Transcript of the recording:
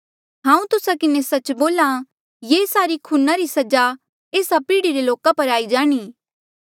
हांऊँ तुस्सा किन्हें सच्च बोल्हा ये सारी खूना री सजा एस्सा पीढ़ी रे लोका पर आई जाणी